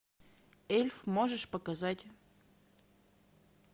эльф можешь показать